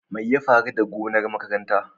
Me ya faru da gonar makarantar?